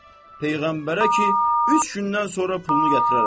Peyğəmbərə ki, üç gündən sonra pulunu gətirərəm.